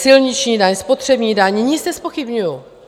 Silniční daň, spotřební daň, nic nezpochybňuju.